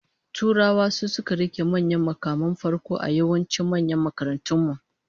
Turawa su suka rike manyan mukaman farko a yawancin manyan makarantun mu